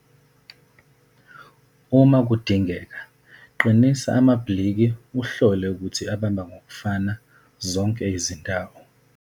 Uma dingeka, qinisa amabhiliki uhlole ukuthi abamba ngokufana zonke izindawo.